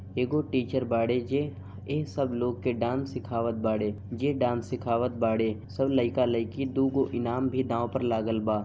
एको टीचर बाड़े जे इन सब लोग को डांस सिखावत बाड़े जे डांस सिखावत बाड़े सब लड़का लड़की दु को इनाम दाव पर लागल बा।